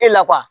E la kuwa